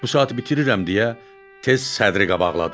Bu saatı bitirirəm deyə tez sədri qabaqladı.